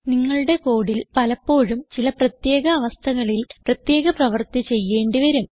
നിങ്ങളുടെ കോഡിൽ പലപ്പോഴും ചില പ്രത്യേക അവസ്ഥകളിൽ പ്രത്യേക പ്രവർത്തി ചെയ്യേണ്ടി വരും